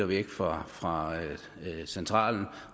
væk fra fra centralen